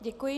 Děkuji.